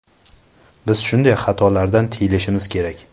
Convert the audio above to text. Biz shunday xatolardan tiyilishimiz kerak”.